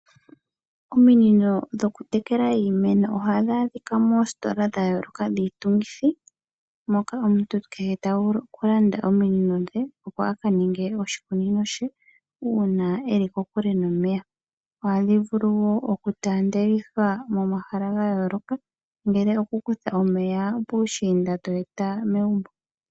Ominino dho kutekela iimeno ohadhi a dhika moositola dhayooloka dhiitungithi, moka omuntu kehe ta vulu oku landa ominino dhe opo a ka ninge oshikunino she uuna e li ko kule nomeya. Ohadhi vulu woo oku taandelithwa momahala gayooloka ngele oku kutha omeya puushiinda to e ta megumbo.